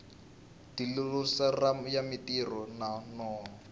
dlilosari ya marito yo nonoha